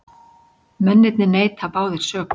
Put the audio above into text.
Mennirnir neita báðir sök